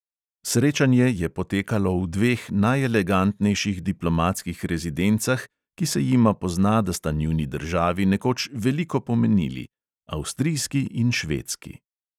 Srečanje je potekalo v dveh najelegantnejših diplomatskih rezidencah, ki se jima pozna, da sta njuni državi nekoč veliko pomenili, avstrijski in švedski.